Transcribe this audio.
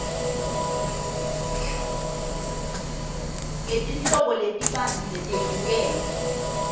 ngetinhlobo letibanti letehlukene